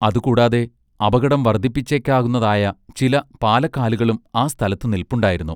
അതു കൂടാതെ അപകടം വർദ്ധിപ്പിച്ചേക്കാവുന്നതായ ചില പാലക്കാലുകളും ആ സ്ഥലത്ത് നില്പുണ്ടായിരുന്നു.